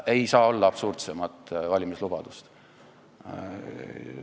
Ei saa olla absurdsemat valimislubadust!